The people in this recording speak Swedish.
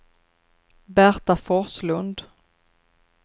Berta Forslund